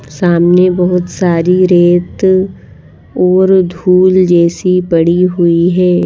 सामने बहुत सारी रेत और धूल जैसी पड़ी हुई है।